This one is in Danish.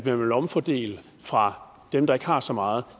en omfordeling fra dem der ikke har så meget